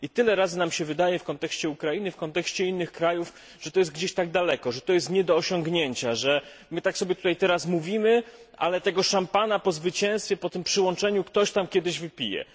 Tyle razy nam się wydaje w kontekście Ukrainy i w kontekście innych krajów, że to jest gdzieś daleko, że to jest nie do osiągnięcia, że my tak sobie tutaj teraz mówimy, ale tego szampana po zwycięstwie, po tym przystąpieniu ktoś tam kiedyś wypije.